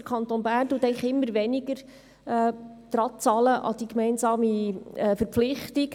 Der Kanton Bern zahlt immer weniger an die gemeinsame Verpflichtung.